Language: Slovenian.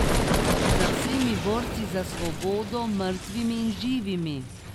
Za vsemi borci za svobodo, mrtvimi in živimi.